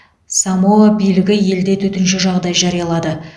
самоа билігі елде төтенше жағдай жариялады